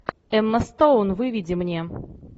эмма стоун выведи мне